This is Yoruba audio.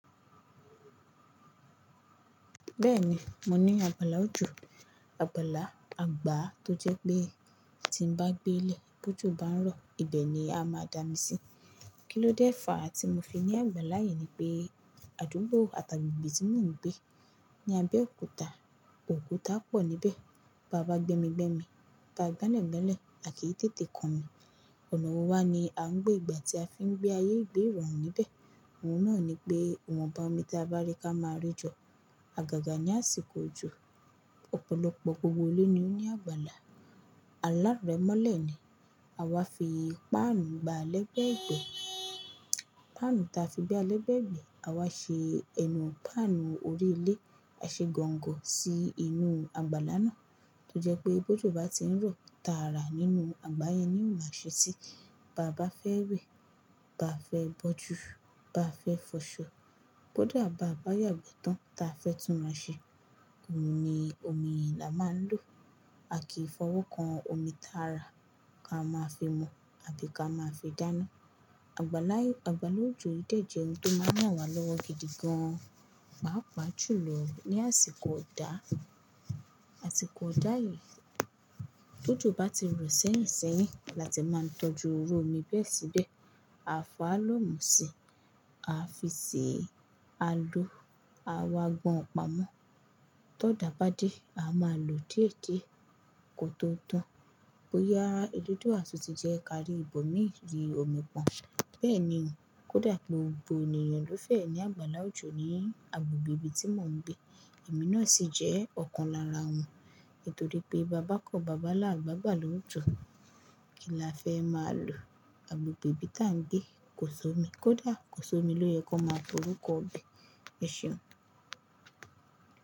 Bẹ́ẹ̀ni, mo ní àgbàlá òjò, àgbàlá àgbà tó jẹ pé tí ń bá gbé lẹ̀, bó jù bá ń rọ̀, ibẹ̀ ni a máa dá mi sí. Kí ló dé fàá tí mo fi ní àgbàlá yìí ni pé àdúgbò àti agbegbe tí mò ń gbé ni Abẹ́òkúta, òkúta pọ̀ níbẹ̀, báa bá gbémi, gbémi, báa gbelẹ̀, gbelẹ̀, a kì í tètè kan mi. Ọ̀nà wo wá ni à ń gbé gbà tí a fi ń gbé ayé ìgbé irọ̀rùn níbẹ̀. Ohun náà ni pé ìwọ̀nba omi ti a bá rí ká máa rí jọ, àgàgà ní àsìkò òjò, ọ̀pọ̀lọpọ̀ gbogbo ilé ni ó ní àgbàlá. Alárẹ̀ mọ́lẹ̀ ni, àwa fi páànù gba lẹ́gbẹ̀ẹ́ gbẹ́. Páànù ta fi gba lẹ́gbẹ̀ẹ́ gbẹ́, àwa ṣe ẹnu páànù orí ilé, a ṣe gọ̀ǹgọ̀ sí inú àgbàlá náà, tó jẹ pé bó ojù bá ti ń rọ̀, ta rà nínú àgbà yẹn ni ó máa ṣe síi. Báa bá fẹ́ wẹ̀, báa fẹ́ bọ́jù, báa fẹ́ fọṣọ, bó dà bá bà yàgbẹ́ tán, ta fẹ́ tún rán ṣe, òhun ni omi i la máa ń lò. A kì í fọwọ́ kan omi tààrà, ká máa fi mu àbi ká máa fi dáná. Àgbàlá òjò yìí de jẹ ohun tó máa ń ràn wá lọ́wọ́ gidi gan, pàápàá jùlọ ní àsìkò ọ̀dà. Àsìkò ọ̀dà yìí, ti ójo bá ti rọ̀ sẹ́yìn sẹ́yìn, la tí máa ń tọ́jú iru omi bẹ́ẹ̀ síbẹ̀. A fọ́ àlọ́ mu si, a fi sè, a lò, a wá gbọn ọ̀pamọ́. Tọ́ dà bá dé, a máa lò dí e di ẹ̀ kò tó tán. Bóyá eledua tun ti jẹ́ kárí ìbò miì rí omi pọ́n. Bẹ́ẹ̀ ni, kó dà pé gbogbo ènìyàn ló fẹ́ ní àgbàlá òjò ní agbègbè tí mò ń gbé, èmi náà sì jẹ́ ọ̀kan lára wọn. Nítorí pé bi a bá kọ́, bi a bá làa gbe agbala ojo Kí la fẹ́ má lò? Agbègbè tí à ń gbé kò s'omi, kó dà kò s'omi ló yẹ ka máa pe orúkọ ibẹ̀. Ẹ ṣeun.